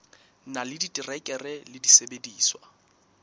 na le diterekere le disebediswa